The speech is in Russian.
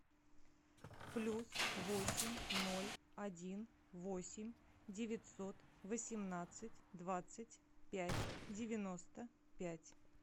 плюс восемь ноль один восемь девятьсот восемнадцать двадцать пять девяносто пять